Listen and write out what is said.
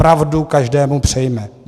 Pravdu každému přejme.